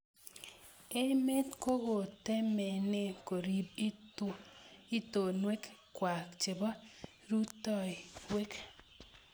Emet kokokotemenee koriib itonweek kwai chebo rutoiyweek.